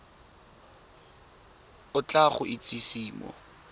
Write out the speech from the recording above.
o tla go itsise mo